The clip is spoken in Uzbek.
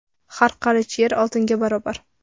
Har qarich yer oltinga barobar.